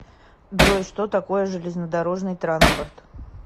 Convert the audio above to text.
джой что такое железнодорожный транспорт